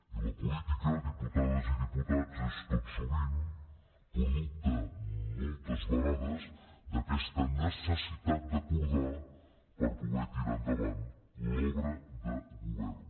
i la política diputades i diputats és tot sovint producte moltes vegades d’aquesta necessitat d’acordar per poder tirar endavant l’obra de govern